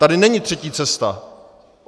Tady není třetí cesta.